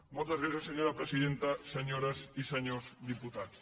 moltes gràcies senyora presidenta senyores i senyors diputats